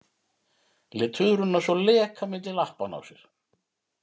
Lét tuðruna svo leka milli lappanna á sér!